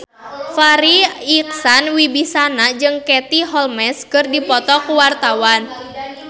Farri Icksan Wibisana jeung Katie Holmes keur dipoto ku wartawan